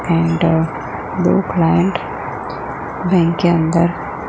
and दो client bank के अंदर--